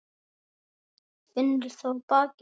Finnur það á bakinu.